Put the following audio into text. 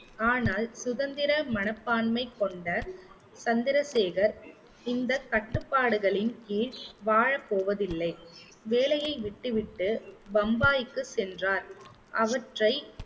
ஆனால் சுதந்திர மனப்பான்மை கொண்ட சந்திரசேகர் இந்த கட்டுப்பாடுகளின் கீழ் வாழப்போவதில்லை, வேலையை விட்டுவிட்டு பம்பாய்க்கு சென்றார் அவற்றை